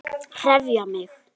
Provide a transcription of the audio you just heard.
Þórkell þekkti ekki.